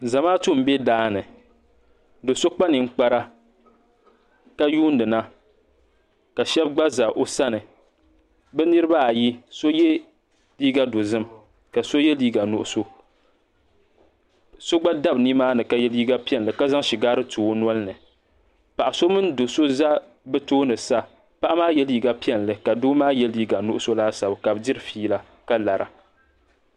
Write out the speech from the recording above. Zamaatu m be daani do'so kpa ninkpara ka yuuni na ka Sheba gba za bɛ sani bɛ niriba ayi so ye liiga dozim ka so ye liiga nuɣuso so gba dabi nimaani ka ye liiga piɛlli ka zaŋ shigaari tu o nolini paɣa so mini do'so za tooni sa paɣa maa ye liiga piɛlli ka doo maa ye liiga nuɣuso laasabu ka bɛ diri fiila ka lara.